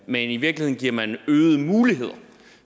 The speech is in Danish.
men i virkeligheden giver man øgede muligheder